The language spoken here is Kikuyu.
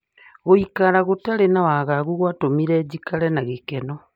Gũikara gũtari na wagagu gwatũmire jikare na gĩkeno